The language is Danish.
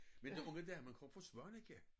Men den unge dame kom fra Svaneke